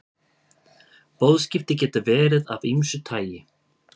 Boðskipti geta verið af ýmsu tagi.